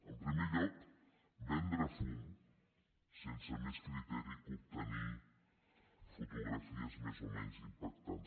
en primer lloc vendre fum sense més criteri que obtenir fotografies més o menys impactants